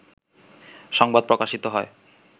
সংবাদ প্রকাশিত হয়